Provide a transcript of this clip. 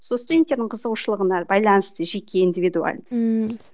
сол студенттердің қызығушылығына байланысты жеке индивидульно ммм